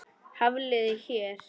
Hafliði hér.